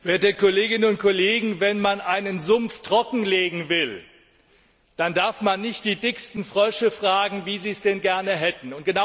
Herr Präsident, werte Kolleginnen und Kollegen! Wenn man einen Sumpf trockenlegen will, dann darf man nicht die dicksten Frösche fragen, wie sie es gerne hätten!